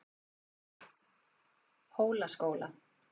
Hólaskóla